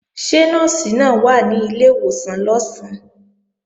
Ṣé Nọ́ọ̀sì náà wà ní ilé ìwòsàn lọ̀sán?